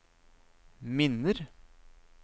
minner